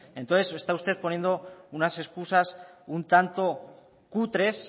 entonces se está usted poniendo unas excusas un tanto cutres